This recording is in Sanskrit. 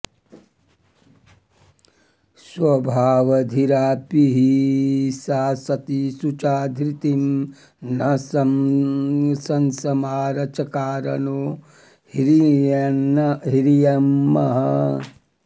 स्वभावधीरापि हि सा सती शुचा धृतिं न सस्मार चकार नो ह्रियम्